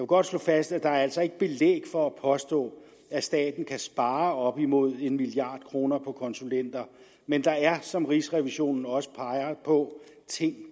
godt slå fast at der altså ikke er belæg for at påstå at staten kan spare op imod en milliard kroner på konsulenter men der er som rigsrevisionen også peger på ting